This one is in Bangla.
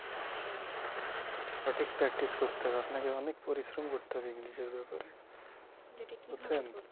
সঠিক practice করতে হবে আপনাকে অনেক পরিশ্রম করতে হবে english এর ব্যাপারে বুঝেছেন